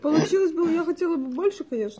получилось но я хотела бы больше конечно